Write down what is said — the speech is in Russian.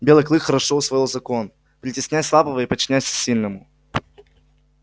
белый клык хорошо усвоил закон притесняй слабого и подчиняйся сильному